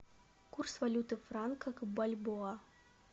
курс валюты франка к бальбоа